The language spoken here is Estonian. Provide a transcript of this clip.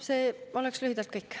See oleks lühidalt kõik.